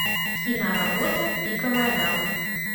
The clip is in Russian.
киноработа пиковая дама